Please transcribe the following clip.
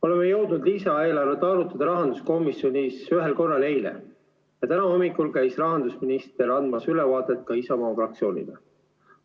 Oleme jõudnud lisaeelarvet arutada rahanduskomisjonis ühel korral, eile, ja täna hommikul käis rahandusminister andmas ülevaadet ka Isamaa fraktsioonile.